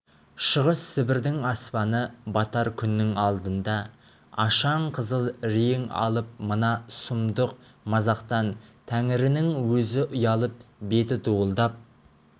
шығыс сібірдің аспаны батар күннің алдында ашаң қызыл рең алып мына сұмдық мазақтан тәңірінің өзі ұялып беті дуылдап